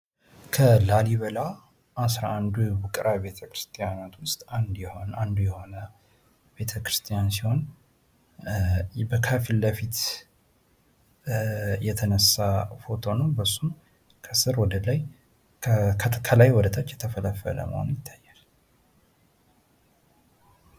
ከላሊበላ አስራ አንዱ ውቅር አብያተ ክርስቲያናት ውስጥ አንዱ የሆነ ቤተክርስቲያን ሲሆን ከፊት ለፊት የተነሳ ፎቶ ነው ።እሱም ከስር ወደ ላይ ከላይ ወደ ታች የተፈለፈለ መሆኑ ይታያል ።